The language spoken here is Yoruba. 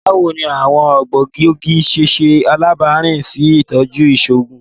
Bawo ni awọn egboogi ṣe ṣe alabapin si itọju iṣoogun?